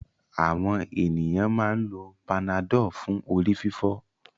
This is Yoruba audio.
Àwọn ènìyàn máa ń lo Panadol fún orí-fífọ́.